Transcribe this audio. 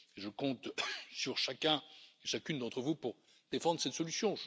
Je compte sur chacune et chacun d'entre vous pour défendre cette solution.